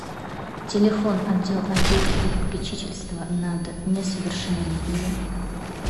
телефон отдел опеки и попечительства над несовершеннолетними